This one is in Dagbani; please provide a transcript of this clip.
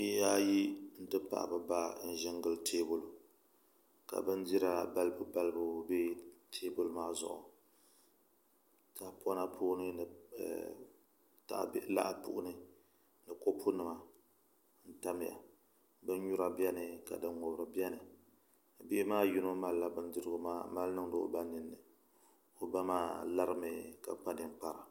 Bihi ayi n ti pahi bi ba n ʒi n gili teebuli ka bindira balibu balibu bɛ teebuli maa zuɣu tahapona puuni ni tahabihi lahi puuni ni kopu nim n tamya binnyura biɛni ka din ŋubiri biɛni bihi maa yino malila bindirigu maa n mali niŋdi o ba nolini o ba maa lari mi ka kpa ninkpara